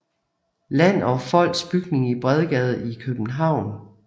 Land og Folks bygning i Bredgade i København